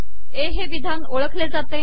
ए हे िवधान ओळखले जाते